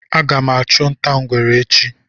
Aga m achu nta ngwere echi